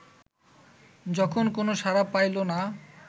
যখন কোন সাড়া পাইল না